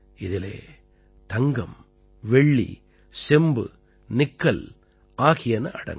இதிலே தங்கம் வெள்ளி செம்பு நிக்கல் ஆகியன அடங்கும்